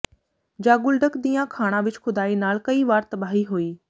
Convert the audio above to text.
Zonguldak ਦੀਆਂ ਖਾਣਾ ਵਿੱਚ ਖੁਦਾਈ ਨਾਲ ਕਈ ਵਾਰ ਤਬਾਹੀ ਹੋਈ